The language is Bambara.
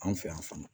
An fɛ yan fana